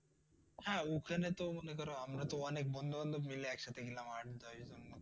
হ্যাঁ ওখানেতো মনে কর আমরা ত অনেক বন্ধু বান্ধব মিলে একসাথে গেলাম আড্ডায়।